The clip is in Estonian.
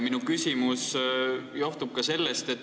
Minu küsimus johtubki sellest.